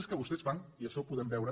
és que vostès fan i això ho podem veure